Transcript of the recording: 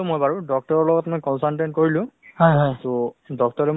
actually মানে কি খোৱা-বোৱা আৰু ভাল ৰাখিলেহে শৰীৰতো ভাল থাকে